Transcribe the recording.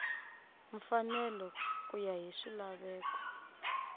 mfanelo ku ya hi swilaveko